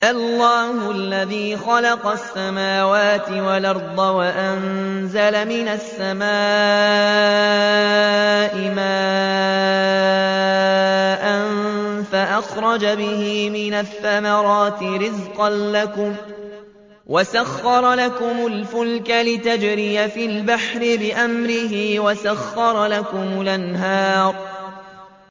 اللَّهُ الَّذِي خَلَقَ السَّمَاوَاتِ وَالْأَرْضَ وَأَنزَلَ مِنَ السَّمَاءِ مَاءً فَأَخْرَجَ بِهِ مِنَ الثَّمَرَاتِ رِزْقًا لَّكُمْ ۖ وَسَخَّرَ لَكُمُ الْفُلْكَ لِتَجْرِيَ فِي الْبَحْرِ بِأَمْرِهِ ۖ وَسَخَّرَ لَكُمُ الْأَنْهَارَ